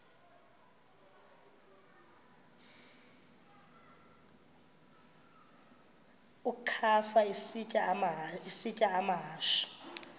ukafa isitya amahashe